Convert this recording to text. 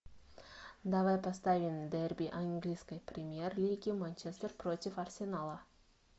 давай поставим дерби английской премьер лиги манчестер против арсенала